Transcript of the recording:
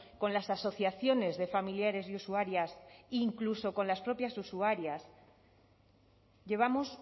con las asociaciones de familiares y usuarias incluso con las propias usuarias llevamos